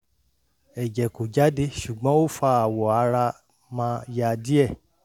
eje ko jade sugbon o fa awo ara ma ya die